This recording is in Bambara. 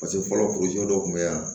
Paseke fɔlɔ dɔ tun bɛ yan